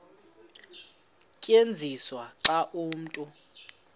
tyenziswa xa umntu